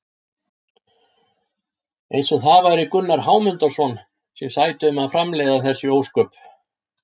Eins og það væri Gunnar Hámundarson sem sæti um að framleiða þessi ósköp!